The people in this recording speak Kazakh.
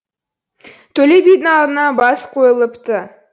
төле бидің алдына бас қойылыпты